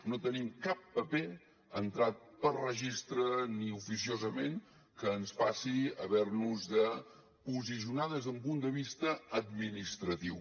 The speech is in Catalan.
no tenim cap paper entrat per registre ni oficiosament que ens faci haver nos de posicionar des d’un punt de vista administratiu